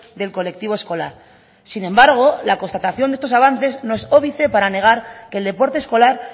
del colectivo escolar sin embargo la constatación de estos avances no es óbice para negar que el deporte escolar